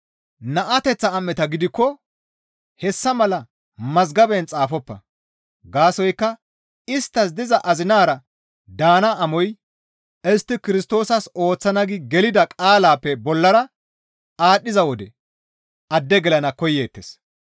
Naateththa am7eta gidikko hessa mala mazgaban xaafoppa; gaasoykka isttas diza azinara daana amoy istti Kirstoosas ooththana gi gelida qaalaappe bollara aadhdhiza wode adde gelana koyeettes.